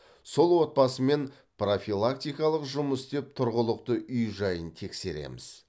сол отбасымен профилактикалық жұмыс істеп тұрғылықты үй жайын тексереміз